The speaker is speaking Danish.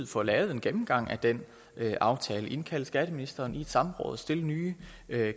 få lavet en gennemgang af den aftale indkalde skatteministeren i et samråd og stille nye